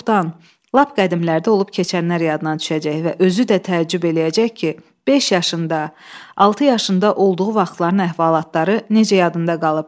Çoxdan, lap qədimlərdə olub keçənlər yadına düşəcək və özü də təəccüb eləyəcək ki, beş yaşında, altı yaşında olduğu vaxtların əhvalatları necə yadında qalıb.